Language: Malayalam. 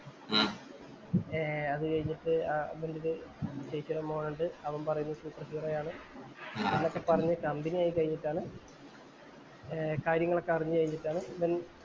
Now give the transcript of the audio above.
അത് കഴിഞ്ഞിട്ട് ഇവന്‍റടുത്ത് ചേച്ചീടെ മോനോണ്ട്. അവന്‍ പറയുന്നു super hero ആആണ്. എന്നൊക്കെ പറഞ്ഞു company ആയി കഴിഞ്ഞിട്ടാണ് കാര്യങ്ങളൊക്കെ അറിഞ്ഞു കഴിഞ്ഞിട്ടാണ്